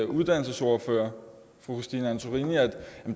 uddannelsesordfører fru christine antorini at